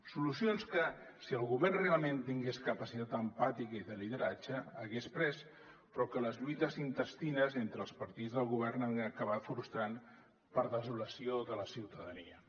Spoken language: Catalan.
solucions que si el govern realment tingués capacitat empàtica i de lideratge hagués pres però que les lluites intestines entre els partits del govern han acabat frustrant per a desolació de la ciutadania